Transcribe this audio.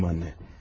Yaxşıyam, ana.